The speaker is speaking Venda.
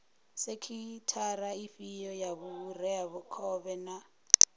sekhithara ifhio ya vhureakhovhe na